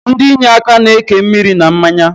Ndi inyeaka na-eke nri na mmanya